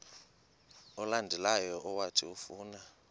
olandelayo owathi ufuna